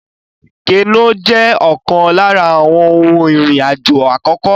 Kénu jẹ́ ọ̀kan lára àwọn ohun ìrìn àjò àkókò